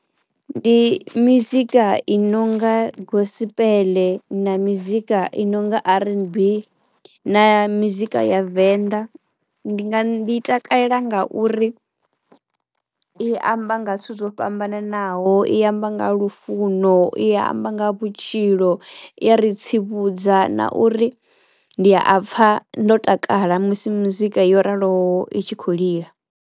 Ndi mizika i nonga gospel na mizika i nonga R_N_B na mizika ya venḓa. Ndi nga ndi takalela nga uri i amba nga zwithu zwo fhambananaho, i amba nga lufuno, i amba nga vhutshilo, i ya ri tsivhudza na uri ndi a pfha ndo takala musi mizika yo raloho i tshi khou lila.